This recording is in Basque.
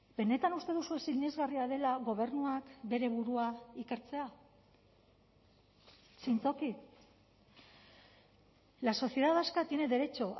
benetan uste duzue sinesgarria dela gobernuak bere burua ikertzea zintzoki la sociedad vasca tiene derecho